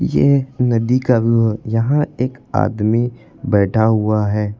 ये नदी का व्यू है यहां एक आदमी बैठा हुआ है।